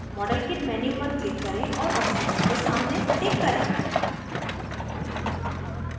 modelkit menu पर click करें और oxygen के सामने टिक करें